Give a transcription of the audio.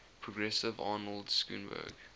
progressive arnold schoenberg